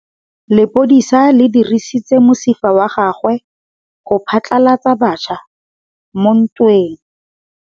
Lepodisa le dirisitse mosifa wa gagwe go phatlalatsa batšha mo ntweng.